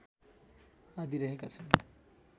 आदि रहेका छन्